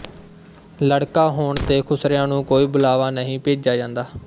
ਲੜਕਾ ਹੋਣ ਤੇ ਖੁਸਰਿਆਂ ਨੂੰ ਕੋਈ ਬੁਲਾਵਾ ਨਹੀਂ ਭੇਜਿਆ ਜਾਂਦਾ